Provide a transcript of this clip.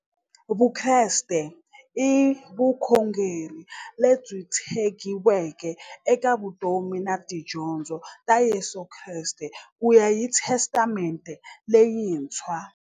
Vukreste i vukhongeri lebyi tshegiweke eka vutomi na tidyondzo ta Yesu Kreste kuya hi Testamente leyintshwa.